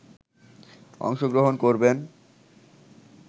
অংশগ্রহণ করবেন